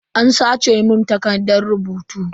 An sace mun takardan rubutu.